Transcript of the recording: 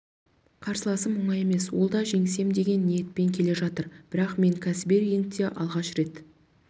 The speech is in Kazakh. қарсыласым осал емес ол да жеңсем деген ниетпен келе жатыр бірақ мен кәсіби рингте алғаш рет